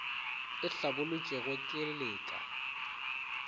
e hlabolotšwego ke le ka